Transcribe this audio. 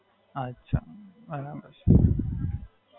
અચ્છા, બરાબર છે.